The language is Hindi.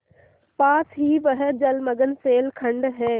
पास ही वह जलमग्न शैलखंड है